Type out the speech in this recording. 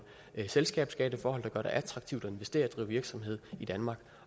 selskabsskatteforhold der gør det attraktivt at investere og drive virksomhed i danmark